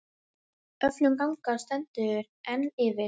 Öflun gagna stendur enn yfir.